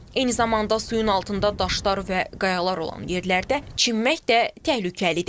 Eyni zamanda suyun altında daşlar və qayalar olan yerlərdə çimmək də təhlükəlidir.